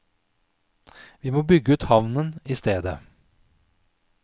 Vi må bygge ut havnen i stedet.